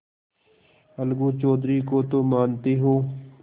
अलगू चौधरी को तो मानते हो